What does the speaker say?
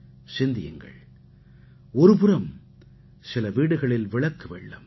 சிந்தியுங்கள் ஒருபுறம் சில வீடுகளில் விளக்கு வெள்ளம்